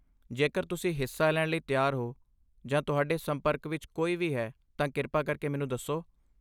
ਜੇਕਰ ਤੁਸੀਂ ਹਿੱਸਾ ਲੈਣ ਲਈ ਤਿਆਰ ਹੋ ਜਾਂ ਤੁਹਾਡੇ ਸੰਪਰਕ ਵਿੱਚ ਕੋਈ ਵੀ ਹੈ, ਤਾਂ ਕਿਰਪਾ ਕਰਕੇ ਮੈਨੂੰ ਦੱਸੋ।